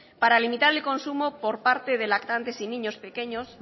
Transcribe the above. para limitar el consumo por parte de lactantes y niños pequeños